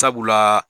Sabula